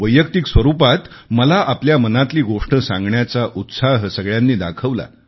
वैयक्तिक स्वरूपात मला आपल्या मनातली गोष्ट सांगण्याचा उत्साह सगळ्यांनी दाखवला